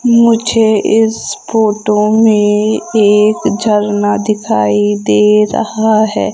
मुझे इस फोटो में एक झरना दिखाई दे रहा है।